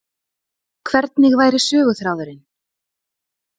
Hvernig væri söguþráðurinn